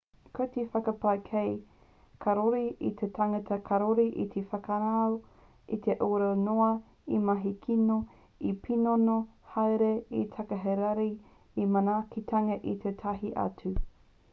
ko te whakapae kē kāore te tangata karore e whānako e aurara noa e mahi kino e pīnono haere e takahi rānei i te manaakitanga a tētahi atu